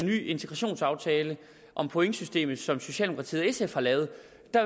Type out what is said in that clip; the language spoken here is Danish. ny integrationsaftale om pointsystemet som socialdemokratiet og sf har lavet